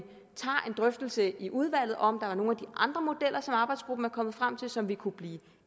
drøftelse i udvalget af om der er nogle af andre modeller som arbejdsgruppen er kommet frem til som vi kunne blive